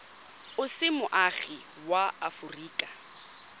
o se moagi wa aforika